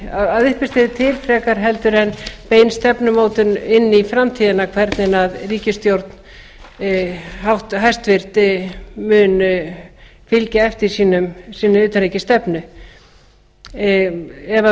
að uppistöðu til frekar heldur en bein stefnumótun inn í framtíðina hvernig ríkisstjórnin hæstvirtur mun fylgja eftir sinni utanríkisstefnu ef